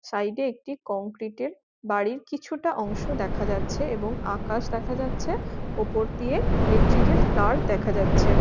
সাইডে একটি কংক্রিট -এর বাড়ির কিছুটা অংশ দেখা যাচ্ছে এবং আকাশ দেখা যাচ্ছে। উপর দিয়ে ইলেকট্রিক -এর তার দেখা যাচ্ছে।